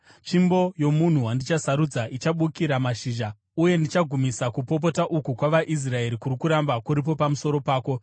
Tsvimbo yomunhu wandichasarudza ichabukira mashizha, uye ndichagumisa kupopota uku kwavaIsraeri kuri kuramba kuripo pamusoro pako.”